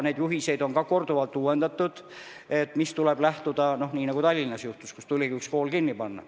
Neid juhiseid on ka korduvalt uuendatud, näiteks Tallinnas juhtus, et tuli üks kool kinni panna.